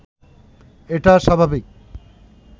এটা স্বাভাবিক